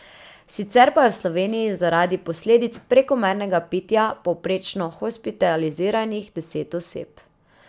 Sicer pa je v Sloveniji zaradi posledic prekomernega pitja povprečno hospitaliziranih deset oseb.